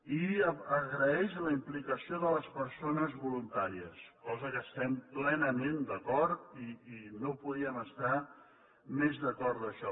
i agraeix la implicació de les persones voluntàries cosa amb què estem plenament d’acord i no podíem estar més d’acord amb això